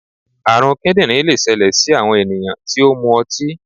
àrùn kíndìnrín lè ṣẹlẹ sí àwọn ènìyàn tí ó mu ọtí.